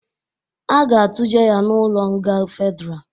A ga atụje ya n'ụlọ nga fedra